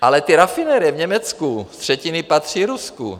Ale ty rafinerie v Německu z třetiny patří Rusku.